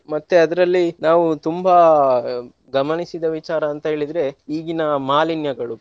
ಮತ್ತೆ ಅದರಲ್ಲಿ ನಾವು ತುಂಬಾ ಗಮನಿಸಿದ ವಿಚಾರ ಅಂತ ಹೇಳಿದ್ರೆ ಈಗಿನ ಮಾಲಿನ್ಯಗಳು.